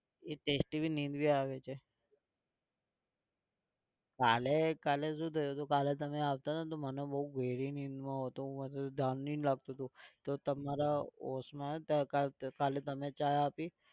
એ testyभी नींद भी આવે છે. કાલે કાલે શું થયું કાલે તમે આવતા હતા તો મને બહુ ગેહરી નીંદમાં હતો મને ધ્યાન નહિ તો તમારા કાલે તમેં ચા આપી.